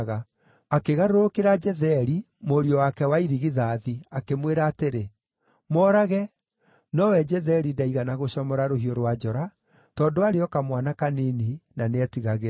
Akĩgarũrũkĩra Jetheri, mũriũ wake wa irigithathi, akĩmwĩra atĩrĩ, “Moorage!” Nowe Jetheri ndaigana gũcomora rũhiũ rwa njora, tondũ aarĩ o kamwana kanini, na nĩetigagĩra.